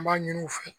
N b'a ɲini u fɛ